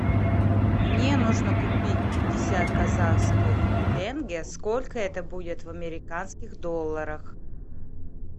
мне нужно купить пятьдесят казахских тенге сколько это будет в американских долларах